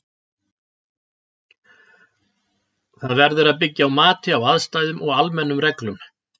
Það verður að byggja á mati á aðstæðum og almennum reglum.